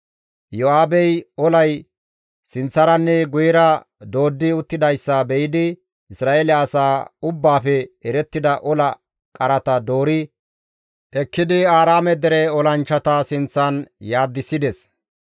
Iyo7aabey olay sinththaranne guyera dooddi uttidayssa be7idi Isra7eele asaa ubbaafe erettida ola qarata doori ekkidi Aaraame dere olanchchata sinththan salfissides.